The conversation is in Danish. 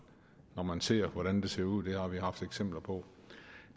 når man ser hvordan det ser ud det har vi haft eksempler på